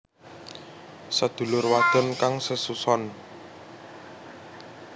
Sedulur wadon kang sesuson